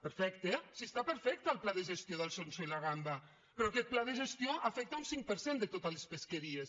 perfecte si està perfecte el pla de gestió del sonso i la gamba pe·rò aquest pla de gestió afecta un cinc per cent de totes les pesqueries